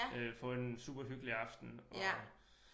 Øh få en superhyggelig aften og